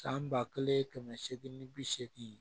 San ba kelen kɛmɛ seegin ni bi seegin